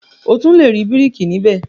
O tun le ri békìrì níbẹ̀.